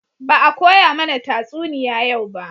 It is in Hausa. Ba a koya mana tatsuniya yau ba